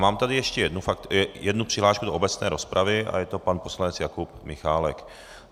Mám tady ještě jednu přihlášku do obecné rozpravy a je to pan poslanec Jakub Michálek.